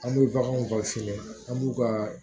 An bɛ baganw ka fini an b'u ka